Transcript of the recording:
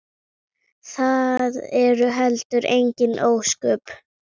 Það eru heldur engin ósköp.